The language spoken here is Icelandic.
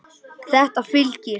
En þetta fylgir.